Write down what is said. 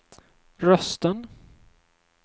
rösten